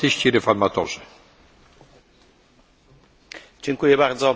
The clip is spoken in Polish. Panie Przewodniczący, Pani Wysoka Przedstawiciel Ashton!